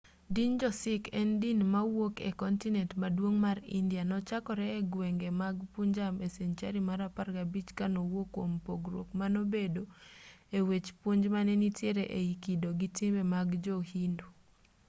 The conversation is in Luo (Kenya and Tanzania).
din jo-sikh en din mawuok e kontinent maduong' mar india nochakore e gwenge mag punjab e senchari mar 15 ka nowuok kuom pogruok manobedo e wech puonj mane nitiere ei kido gi timbe mag jo-hindu